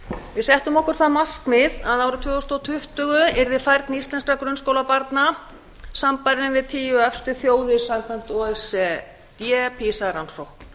við settum okkur það markmið að árið tvö þúsund tuttugu yrði færni íslenskra grunnskólabarna sambærileg við tíu efstu þjóðir samkvæmt o e c d pisa rannsókn